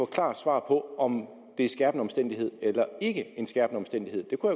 klart svar på om det en skærpende omstændighed eller ikke en skærpende omstændighed det kunne